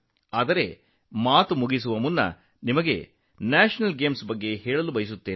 ಆದರೆ ನಾನು ಹೊರಡುವ ಮೊದಲು ರಾಷ್ಟ್ರೀಯ ಕ್ರೀಡಾಕೂಟದ ಬಗ್ಗೆಯೂ ಹೇಳಲು ಬಯಸುತ್ತೇನೆ